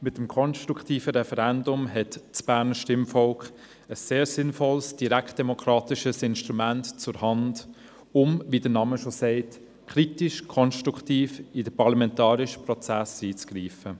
Mit dem konstruktiven Referendum hat das Berner Stimmvolk ein sehr sinnvolles, direktdemokratisches Instrument zur Hand, um – wie der Name schon sagt – kritisch-konstruktiv in den parlamentarischen Prozess einzugreifen.